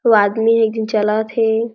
अउ आदमी एक झन चलत हे।